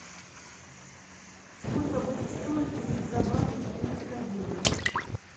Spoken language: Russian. сколько будет стоить купить за баты четыреста евро